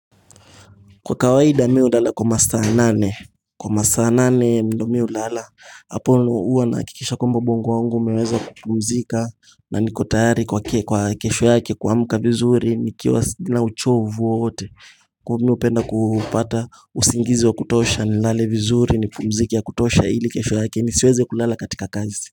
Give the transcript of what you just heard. Kwa kawaida mimi hulala kwa msaa nane Kwa msaa nane ndo mimi hulala Hapo huwa nahakikisha kwamba ubongo wangu umeweza kupumzika Nanikotayari kwa kesho yake kuamka vizuri nikiwa na uchovu wowote mimi hupenda kupata usingizi wa kutosha nilale vizuri nipumzike kutosha ili kesho yake nisiweze kulala katika kazi.